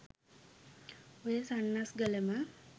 ඔය සන්නස්ගලම